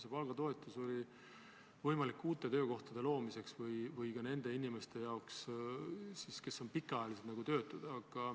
See palgatoetus on uute töökohtade loomiseks ja ka nende inimeste töölevõtmiseks, kes on pikaajalised töötud.